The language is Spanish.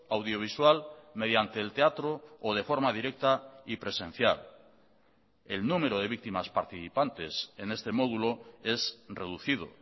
audiovisual mediante el teatro o de forma directa y presencial el número de víctimas participantes en este módulo es reducido